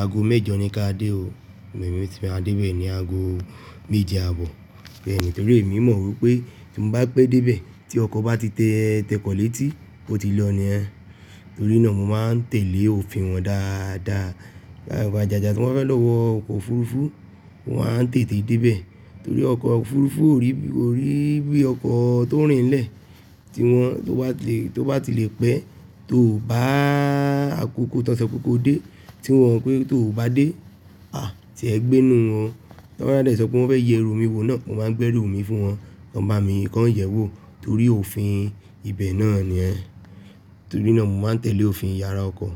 ago méjò ní kí a dé o, èmi ti máa dé bẹ́ẹ̀ ní ago méje àbọ̀. Bẹ́ẹ̀ni, torí èmi mọ̀ wípé tí mo bá pé dé ibẹ̀ tí ọkọ̀ bá ti te tékòó létí, ó ti lọ nìyen. Torí náà mo máa ń tẹ̀lé òfin wọn dáadáa. Ìgbà ìgbàjọba tí wọ́n fẹ́ lọ wọ ọkọ̀ òfurufú, mo máa ń tètè dé ibẹ̀. Torí ọkọ̀ òfurufú ò rí bí ọkọ̀ tó ń rìn lẹ́ẹ̀ tí wọ́n tó bá ti lè pẹ́, tó bá àkókò tó ń sọ kí ko dé tí wọ́n pé tó bá dé, à tí ẹ gbé nù wọn. Wọ́n máa dé sọ pé wọ́n fẹ́ yẹ eru mi wo náà, mo máa ń gbé eru mi fún wọn, kan bá mi kọ ń yẹ̀wò torí òfin ibẹ̀ náà ni ẹ. Torí náà mo máa ń tẹ̀lé òfin ìyára ọkọ̀